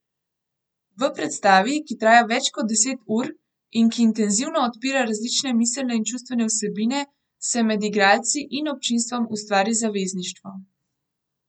V predstavi, ki traja več kot deset ur in ki intenzivno odpira različne miselne in čustvene vsebine, se med igralci in občinstvom ustvari zavezništvo.